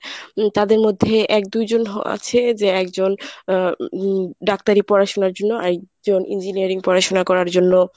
তাদের মধ্যে এক দুজন আছে যে একজন আ উম ডাক্তারি পড়াশুনার জন্য ইঞ্জিনিয়ারিং পড়াশুনা করার জন্য